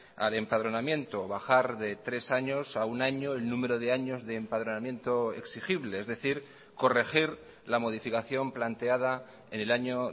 al empadronamiento bajar de tres años a un año el número de años de empadronamiento exigible es decir corregir la modificación planteada en el año